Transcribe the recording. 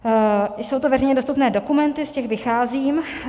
Jsou to veřejně dostupné dokumenty, z těch vycházím.